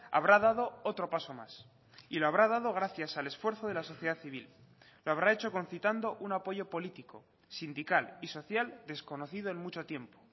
habrá dado otro paso más y lo habrá dado gracias al esfuerzo de la sociedad civil lo habrá hecho concitando un apoyo político sindical y social desconocido en mucho tiempo